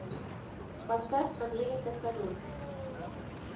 поставь америка салют